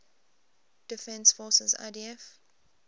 defense forces idf